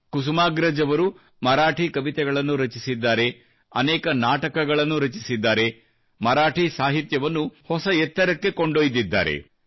ಕುಸುಮಾಗ್ರಜ್ ಅವರು ಮರಾಠಿ ಕವಿತೆಗಳನ್ನು ರಚಿಸಿದ್ದಾರೆ ಅನೇಕ ನಾಟಕಗಳನ್ನು ರಚಿಸಿದ್ದಾರೆ ಮರಾಠಿ ಸಾಹಿತ್ಯವನ್ನು ಹೊಸ ಎತ್ತರಕ್ಕೆ ಕೊಂಡೊಯ್ದಿದ್ದಾರೆ